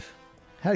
Lalayev.